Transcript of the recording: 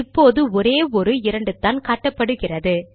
இப்போது ஒரே ஒரு இரண்டுதான் காட்டப்படுகிறது